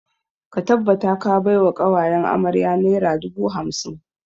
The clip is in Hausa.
Ka tabbata ka bai wa ƙawayen amarya naira dubu hamsin!